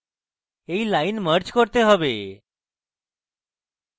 তাই আমাদের এই লাইন merge করতে have